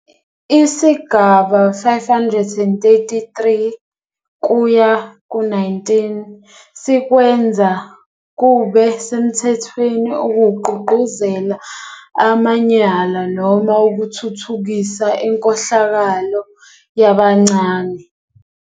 Isigaba 533-19 sikwenza kube semthethweni ukugqugquzela amanyala noma ukuthuthukisa inkohlakalo yabancane.